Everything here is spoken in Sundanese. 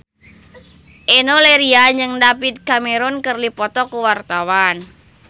Enno Lerian jeung David Cameron keur dipoto ku wartawan